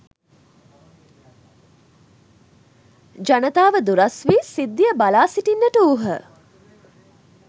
ජනතාව දුරස් වී සිද්ධිය බලා සිටින්නට වූහ.